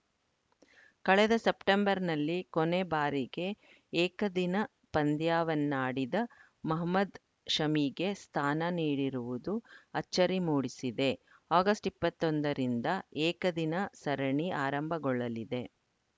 ಕಳೆದ ಸೆಪ್ಟೆಂಬರ್‌ನಲ್ಲಿ ಕೊನೆ ಬಾರಿಗೆ ಏಕದಿನ ಪಂದ್ಯವನ್ನಾಡಿದ್ದ ಮೊಹಮದ್‌ ಶಮಿಗೆ ಸ್ಥಾನ ನೀಡಿರುವುದು ಅಚ್ಚರಿ ಮೂಡಿಸಿದೆ ಆಗಸ್ಟ್ ಇಪ್ಪತ್ತ್ ಒಂದರಿಂದ ಏಕದಿನ ಸರಣಿ ಆರಂಭಗೊಳ್ಳಲಿದೆ